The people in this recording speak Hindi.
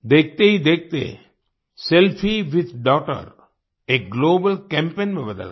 देखते ही देखते सेल्फी विथ डॉगटर एक ग्लोबल कैम्पेन में बदल गया